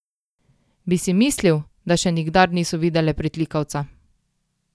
Bi si mislil, da še nikdar niso videle pritlikavca.